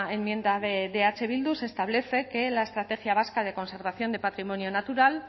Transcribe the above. enmienda de eh bildu se establece que la estrategia vasca de conservación del patrimonio natural